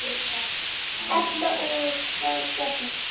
Edda: Og hvað gerist þá?